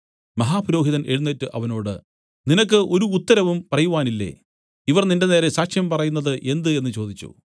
മഹാപുരോഹിതൻ എഴുന്നേറ്റ് അവനോട് നിനക്ക് ഒരു ഉത്തരവും പറയുവാനില്ലേ ഇവർ നിന്റെനേരെ സാക്ഷ്യം പറയുന്നത് എന്ത് എന്നു ചോദിച്ചു